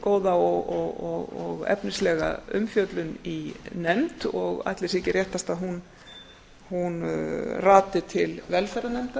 góða og efnislega umfjöllun í nefnd og ætli það sé ekki réttast að hún rati til velferðarnefndar